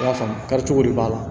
I y'a faamu kari cogo de b'a la